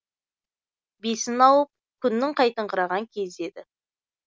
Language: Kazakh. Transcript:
бесін ауып күннің қайтыңқыраған кезі еді